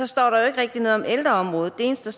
står der jo ikke rigtig noget om ældreområdet det eneste